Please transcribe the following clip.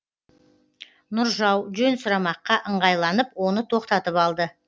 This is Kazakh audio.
нұржау жөн сұрамаққа ыңғайланып оны тоқтатып алды